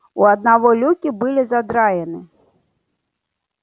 у одного люки были задраены